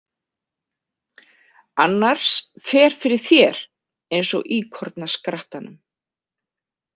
Annars fer fyrir þér eins og íkornaskrattanum.